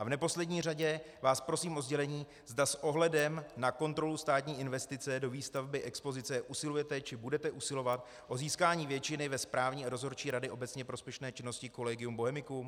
A v neposlední řadě vás prosím o sdělení, zda s ohledem na kontrolu státní investice do výstavby expozice usilujete či budete usilovat o získání většiny ve správní a dozorčí radě obecně prospěšné činnosti Collegium Bohemicum.